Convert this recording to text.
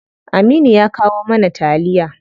Aminu ya kawo mana taliya.